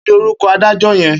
Kini órúkò ádàjò yèn?